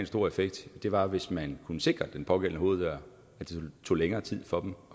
stor effekt var hvis man kunne sikre den pågældende hoveddør så det tog længere tid for dem at